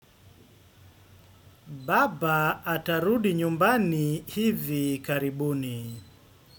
Baba atarudi nyumbani hivi karibuni.